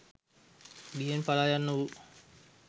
බියෙන් පලා යන්නා වූ